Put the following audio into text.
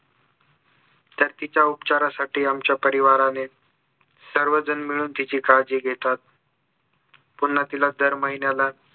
तर तिच्या उपचारासाठी आमच्या परिवाराने सर्वजण मिळून तिची काळजी घेतात पुन्हा तिला दर महिन्याला